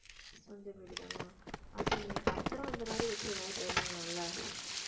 சொந்த வீடுதானா அப்ப நீங்க பத்திரம் அந்த மாதிரி வச்சு ஏதாவது try பண்ணலாம்ல